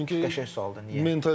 Çünki 50-şəhər sualdır niyə?